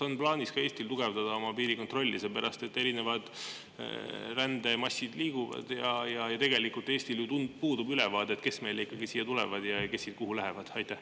Kas on plaanis ka Eestil tugevdada oma piirikontrolli, sest erinevad rändemassid liiguvad ja tegelikult puudub Eestil ülevaade, kes meile siia ikkagi tulevad ja kes siit kuhu lähevad?